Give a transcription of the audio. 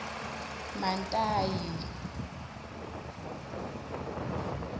mantayi